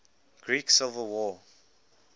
greek civil war